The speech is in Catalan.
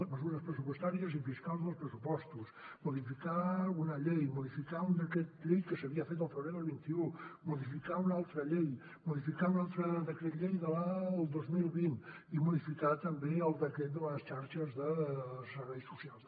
mesures pressupostàries i fiscals dels pressupostos modificar una llei modificar un decret llei que s’havia fet al febrer del vint un modificar una altra llei modificar un altre decret llei del dos mil vint i modificar també el decret de xarxes de serveis socials